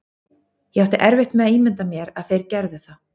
Ég átti erfitt með að ímynda mér að þeir gerðu það.